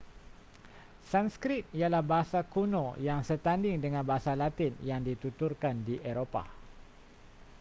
sanskrit ialah bahasa kuno yang setanding dengan bahasa latin yang dituturkan di eropah